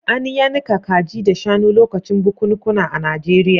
An yanka kaji da shanu lokacin bukunkuna a Najeriya.